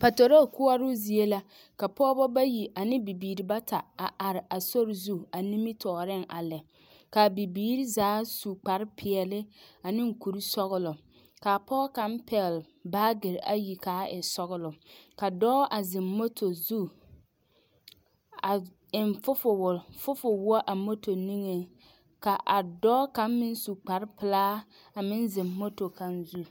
Patorol koɔroo zie la ka pɔgeba bayi ane bibiiri bata a are a sori zu a nimitɔɔreŋ a lɛ k,a bibiiri zaa su kparepeɛle ane kurisɔglaka pɔge kaŋ pɛgle baagere ayi k,a e sɔgla ka dɔɔ a zeŋ moto zu a eŋ fofowo fofowɔ a moto niŋeŋ ka a dɔɔ kaŋ meŋ su kparepelaa a meŋ zeŋ moto kaŋ zu.